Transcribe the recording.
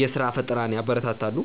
የስራ ፈጠራን ያበረታታሉ።